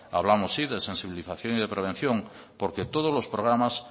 hablamos sí de sensibilización y prevención porque todos los programas